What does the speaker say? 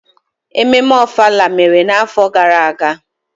Ememme ofala mere n'afọ gara aga?